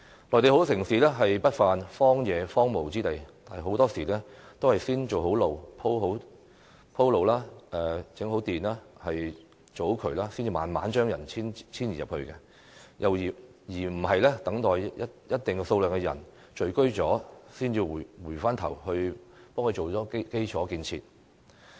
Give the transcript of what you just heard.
內地很多城市不乏荒蕪之地，很多時候也是先修建道路、鋪設水電設施、建好渠道後，才慢慢把人遷移進去，而非等一定數量的人聚居後，才回頭補建基礎設施。